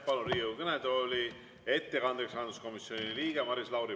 Palun Riigikogu kõnetooli ettekandeks rahanduskomisjoni liikme Maris Lauri.